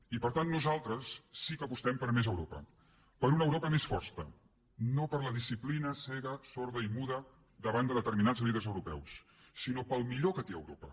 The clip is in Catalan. i per tant nosaltres sí que apostem per més europa per una europa més forta no per la disciplina cega sorda i muda davant de determinats líders europeus sinó pel millor que té europa